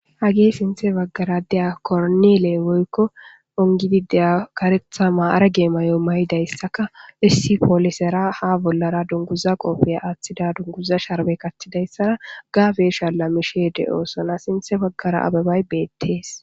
hagee sinthe baggara deya kornile woykko ongidide karethama arage may7o mayidayssaka issi poolisera ha bollara dunguza qofeya aaththida dunguza sharbe kattidayssara gabesha lammishe de7oosona sinthe baggara ababay beettees